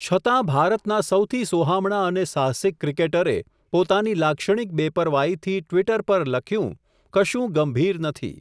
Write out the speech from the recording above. છતાં ભારતના સૌથી સોહામણાં અને સાહસિક ક્રિકેટરે, પોતાની લાક્ષણિક બેપરવાઈથી ટ્વિટર પર લખ્યું કશું ગંભીર નથી.